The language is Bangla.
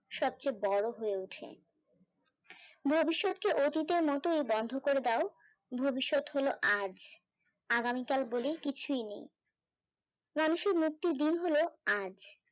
সবচেয়ে বড় হয়ে ওঠে ভবিষ্যতর কে অতীতের মত ই বন্ধ করে দাও ভবিষৎ হলো আজ আগামীকাল বলে কিছুই নেই মানুষের মুক্তি আজ